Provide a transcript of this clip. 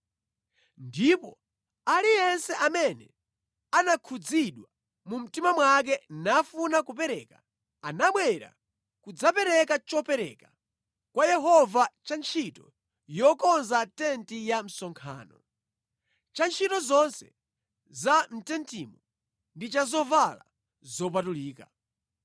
ndipo aliyense amene anakhudzidwa mu mtima mwake nafuna kupereka, anabwera kudzapereka chopereka kwa Yehova cha ntchito yokonza tenti ya msonkhano, cha ntchito zonse za mʼtentimo ndi cha zovala zopatulika.